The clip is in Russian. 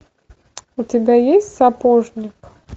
у тебя есть сапожник